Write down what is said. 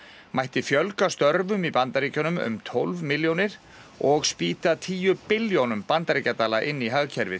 mætti fjölga störfum í Bandaríkjunum um tólf milljónir og spýta tíu billjónum bandaríkjadala inn í hagkerfið